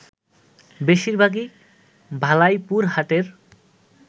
বেশিরভাগই ভালাইপুর হাটের